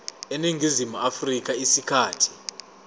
eningizimu afrika isikhathi